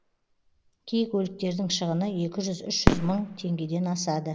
кей көліктердің шығыны екі жүз үш жүз мың теңгеден асады